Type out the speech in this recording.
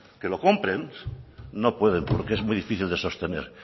que lo compren no pueden porque es muy difícil de sostener